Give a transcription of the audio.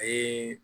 A ye